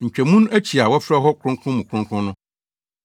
Ntwamu no akyi a wɔfrɛ hɔ Kronkron mu Kronkron no,